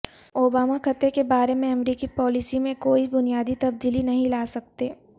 Obama خطے کے بارے میں امریکی پالیسی میں کوئی بنیادی تبدیلی نہیں لا سکتے